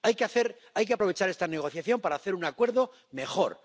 Hay que aprovechar esta negociación para hacer un acuerdo mejor